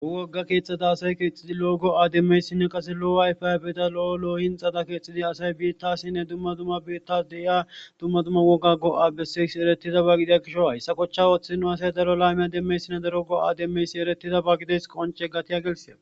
Ho wogga keexxada asay keexxidi lo7ogo aaddemmeyssinne qase lo7o ayfay beta lo7o loohinxada keexxidi asay biittasinne dumma dumma biittas deyiya dumma dumma woga go7a bessesi eretiza ba gidiya kisho a hessa kochcha ooththidino asay daro laymiya demmeyssinna darogo aademmeysi eretiza ba gideys qonce gatiya gelseda.